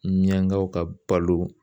Miyangaw ka balo.